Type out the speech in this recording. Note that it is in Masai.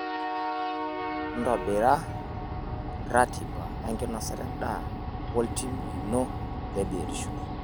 Ntobira ratiba enkinosata endaa woltim lino le biotisho.